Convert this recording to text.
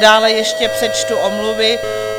Dále ještě přečtu omluvy.